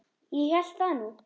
Ég hélt það nú.